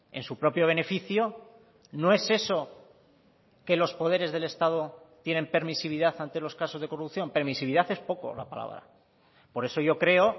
en su propio beneficio no es eso que los poderes del estado tienen permisividad ante los casos de corrupción permisividad es poco la palabra por eso yo creo